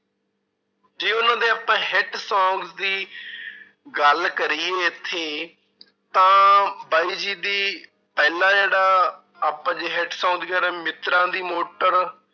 ਜੇ ਉਹਨਾਂ ਦੇ ਆਪਾਂ hit songs ਦੀ ਗੱਲ ਕਰੀਏ ਇੱਥੇ ਤਾਂ ਬਾਈ ਜੀ ਦੀ ਪਹਿਲਾ ਜਿਹੜਾ ਆਪਾਂ ਜੇ hit song ਜਿਹੜੇ ਮਿੱਤਰਾਂ ਦੀ ਮੋਟਰ